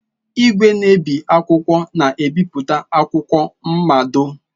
Igwe na-ebi akwụkwọ na ebipụta akwụkwọ mmado.